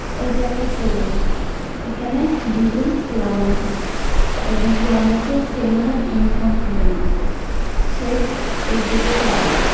এটা একটা সেলুন এখানেদুজনপোলা মানুষ আছে একজন পোলা মাইষের সেলুনে আছে সে এদিকে চাইয়া রইছে।